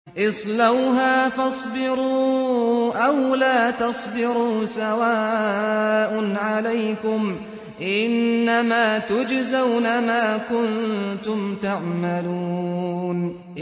اصْلَوْهَا فَاصْبِرُوا أَوْ لَا تَصْبِرُوا سَوَاءٌ عَلَيْكُمْ ۖ إِنَّمَا تُجْزَوْنَ مَا كُنتُمْ تَعْمَلُونَ